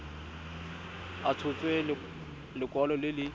a tshotse lekwalo le le